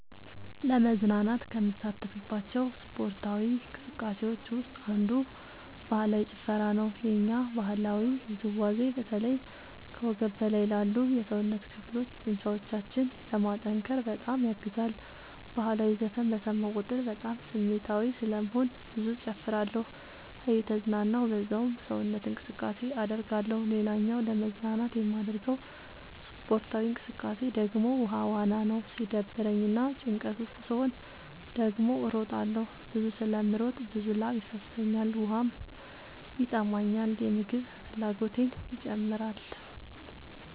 ለመዝናናት ከምሳተፍባቸው ስፓርታዊ እንቅስቃሴዎች ውስጥ አንዱ ባህላዊ ጭፈራ ነው። የኛ ባህላዊ ውዝዋዜ በተለይ ከወገብ በላይ ላሉ የሰውነት ክፍሎ ጡንቻዎችን ለማጠንከር በጣም ያግዛል። በህላዊ ዘፈን በሰማሁ ቁጥር በጣም ስሜታዊ ስለምሆን ብዙ እጨፍራለሁ እየተዝናናሁ በዛውም ሰውነት እንቅስቃሴ አደርጋለሁ። ሌላኛው ለመዝናናት የማደርገው ስፖርታዊ እንቅቃሴ ደግሞ ውሃ ዋና ነው። ሲደብረኝ እና ጭንቀት ውስጥ ስሆን ደግሞ እሮጣለሁ። ብዙ ስለምሮጥ ብዙ ላብ ይፈሰኛል ውሃም ይጠማኛል የምግብ ፍላጎቴም ይጨምራል።